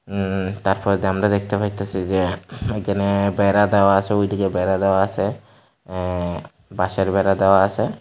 উম তারপরে দিয়ে আমরা দেখতে পাইতাসি যে এইখানে বেড়া দেওয়া আছে ওইদিকে বেড়া দেওয়া আছে অ্যা বাঁশের বেড়া দেওয়া আছে।